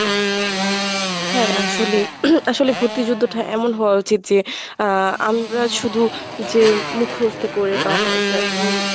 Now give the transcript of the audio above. হ্যাঁ, আসলে আসলে ভর্তি যুদ্ধটা এমন হওয়া উচিত যে, আহ আমরা শুধু যে মুখস্ত করে বা তেমন,